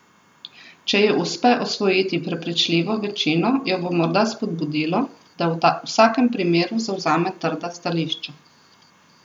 Če ji uspe osvojiti prepričljivo večino, jo bo morda spodbudilo, da v vsakem primeru zavzame trda stališča.